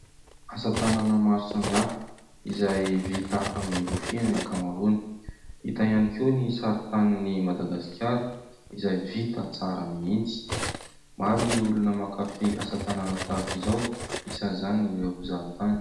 Asa tanana maro samihafa izay vita amin'ny rofia ny ankamaroany. Hita ihany koa ny sarintanin'i Madagasikara izay vita tsara mihitsy. Maro ny olona mankafy asa tanana tahak'izao, isan'izany ireo mpizahantany.